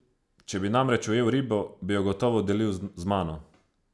Če bi namreč ujel ribo, bi jo gotovo delil z mano.